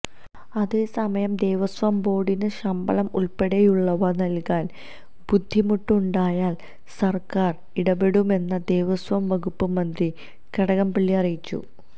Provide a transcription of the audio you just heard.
അതേസമയം ദേവസ്വം ബോര്ഡിന് ശമ്പളം ഉള്പ്പടെയുള്ളവ നല്കാന് ബുദ്ധിമുട്ട് ഉണ്ടായാല് സര്ക്കാര് ഇടപെടുമെന്ന് ദേവസ്വം വകുപ്പ് മന്ത്രി കടകംപള്ളി അറിയിച്ചു